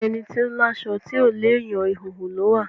Ẹni tó láṣọ tí ò léèyàn, ìhòhò ló wà.